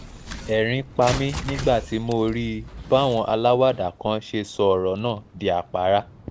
ẹ̀rín pa mí nígbà tí mo rí i báwọn aláwàdà kan ṣe sọ ọ̀rọ̀ náà di àpárá